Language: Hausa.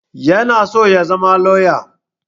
Yana so ya zama lauya